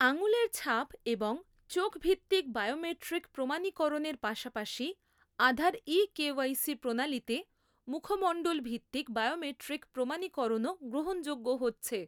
আঙুলের ছাপ এবং চোখভিত্তিক বায়োমেট্রিক প্রমাণীকরণের পাশাপাশি আধার ই কেওয়াইসি প্রণালীতে মুখমণ্ডলভিত্তিক বায়োমেট্রিক প্রমাণীকরণও গ্রহণযোগ্য হচ্ছে।